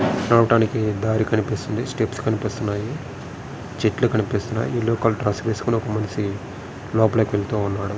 నడవడానికి దారి కనిపిస్తుంది స్టెప్స్ కనిపిస్తున్నాయి చెట్లు కనిపిస్తున్నాయి ఈ లోగా డ్రస్ వేసుకున్న ఒక మనిషి లోపలికి వెళ్తూ ఉన్నాడు.